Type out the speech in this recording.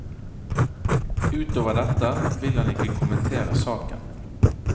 Utover dette ville han ikke kommentere saken.